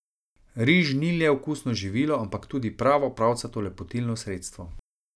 Riž ni le okusno živilo, ampak tudi pravo pravcato lepotilno sredstvo.